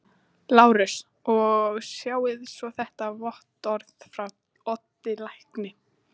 LÁRUS: Og sjáið svo þetta vottorð frá Oddi lækni.